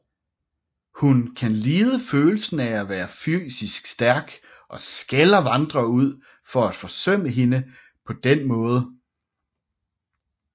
Hun kan lide følelsen af at være fysisk stærk og skælder Vandrer ud for at forsømme hende på den måde